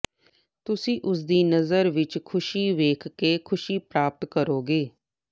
ਤੁਸੀਂ ਉਸਦੀ ਨਜ਼ਰ ਵਿੱਚ ਖੁਸ਼ੀ ਵੇਖ ਕੇ ਖੁਸ਼ੀ ਪ੍ਰਾਪਤ ਕਰੋਗੇ